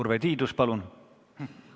Urve Tiidus, palun!